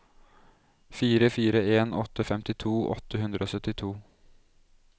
fire fire en åtte femtito åtte hundre og syttito